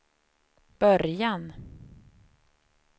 början